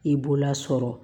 I b'o lasɔrɔ